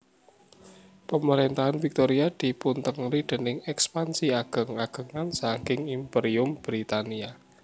Pamaréntahan Victoria dipuntengeri déning èkspansi ageng agengan saking Imperium Britania